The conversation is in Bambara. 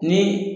Ni